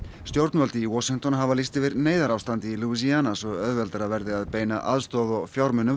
stjórnvöld í Washington hafa lýst yfir neyðarástandi í svo auðveldara verði að beina aðstoð og fjármunum